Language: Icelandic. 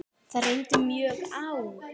Það reyndi mjög á.